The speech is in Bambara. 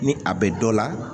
Ni a bɛ dɔ la